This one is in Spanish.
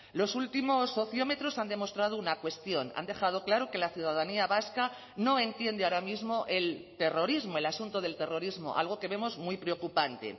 los últimos sociómetros han demostrado una cuestión han dejado claro que la ciudadanía vasca no entiende ahora mismo el terrorismo el asunto del terrorismo algo que vemos muy preocupante